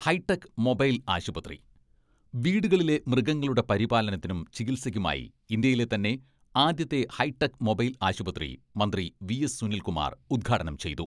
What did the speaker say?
Hi tech mobile ആശുപത്രി വീടുകളിലെ മൃഗങ്ങളുടെ പരിപാലനത്തിനും ചികിത്സയ്ക്കുമായി ഇന്ത്യയിലെ തന്നെ ആദ്യത്തെ ഹൈടെക് മൊബൈൽ ആശുപത്രി മന്ത്രി വി.എസ്.സുനിൽകുമാർ ഉദ്ഘാടനം ചെയ്തു.